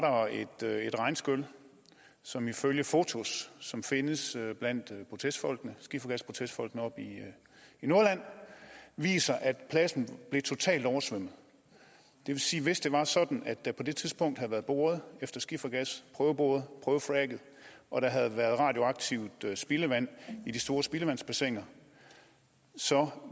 der et regnskyl som ifølge fotos som findes blandt skifergasprotestfolkene oppe i nordjylland viser at pladsen blev totalt oversvømmet det vil sige at hvis det var sådan at der på det tidspunkt havde været boret efter skifergas prøveboret prøvefracket og der havde været radioaktivt spildevand i de store spildevandsbassiner så